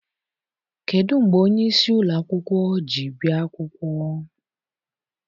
Kedụ mgbe onyeisi ụlọakwụkwọ ji bịa akwụkwọ?